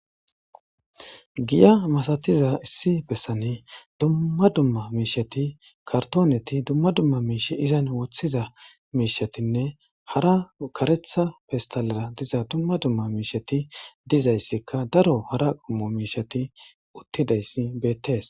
Giya masatiza issi bessani dumma dumma miishsheti, kartooneti dumma dumma miishshet izan woththiza miishshetinne hara kareththa pestalere diza dumma dumma miishsheti dizayssinne hara qommo miishshati uttidayssi beettees.